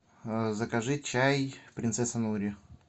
закажи чай принцесса нури